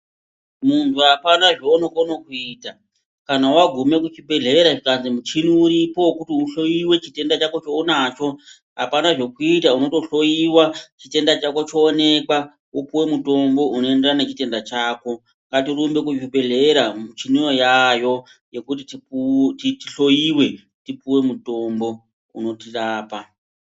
Muntu apana zvaunokone kuita kana wagume kuchibhedhlera zvikazi muchini uripo wekuti uhloiwe chitenda chako chounacho apana zvekuita unotohloiwa chitenda chako choonekwa wopuwe mutombo unoenderana nechitenda chako ngatirumbe kuzvibhedhlera muchiniyo uaayo yekuti tihloiwe tipuwe mutombo unotirapa.